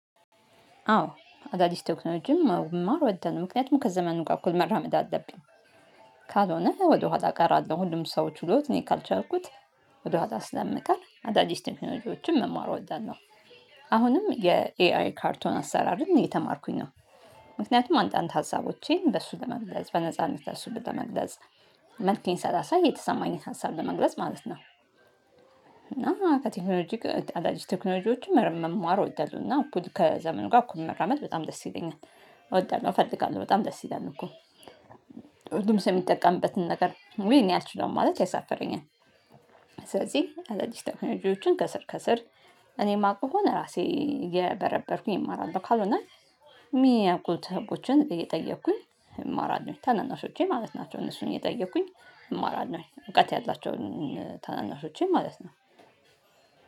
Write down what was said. አዎ አዳዲስ ቴክኖሎጂም መማር እወዳለው ምክንያቱም ከዘመኑ ጋር እኩል መራመድ አለብኝ። ካልሆነ ወደኋላ ቀራለው ሁሉም ሰው ችሎት እኔ ካልቻልኩት ወደኋላ ስለምቀር አዳዲስ ቴክኖሎጅዎችን መማር እወዳለው። አሁንም የኤአይ ካርቶን አሰራርን እየተማርኩኝ ነው። ምክንያቱም አንዳንድ ሀሳቦቼን በእሱ ለመግለጽ በነፃ እንደሱ በመግለጽ መንኪያን ሰላሳ የተሰማኝን ሀሳብ ለመግለጽ ማለት ነው። እና ከቴክኖሎጂ አዳዲስ ቴክኖሎጂዎችን መማሩ ይደርሱና እኩል ከዘመኑ ጋር እኩል መራመድ በጣም ደስ ይለኛል። እወደዳለሁ እፈልጋለሁ በጣም ደስ ይላል እኮ። ሁሉም ሰው የሚጠቀምበትን ነገር ወይ ነው ያልችለው ማለት ያሳፍረኛል። ስለዚህ አዳዲስ ቴክኖሎጂዎችን ከስር ከስር። እኔ የማውቀው ራሴ የበረበርኩኝ እማራለሁ ካልሆነ። የሚያውቁት ህቦችን እየጠየኩኝ እማራለሁ ታናናሾቼ ማለት ናቸው። እነሱን እየጠየኩኝ እማራለሁ እውቀት ያላቸውን ታናናሾቼ ማለት ነው።